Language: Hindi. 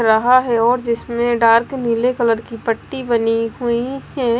रहा है और जिसमें डार्क नीले कलर की पट्टी बनी हुई है।